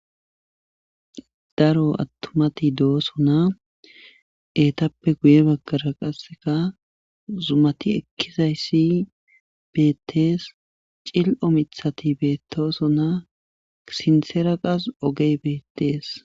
daro attumati do7oso na eetappe guye baggara qasseka zumati ekkizayssi beettees cil7o mithati beettoso naa sinseera qas ogey beettees